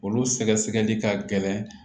Olu sɛgɛsɛgɛli ka gɛlɛn